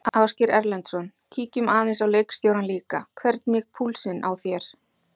Ásgeir Erlendsson: Kíkjum aðeins á leikstjórann líka, hvernig púlsinn á þér?